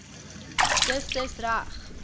dis dis reg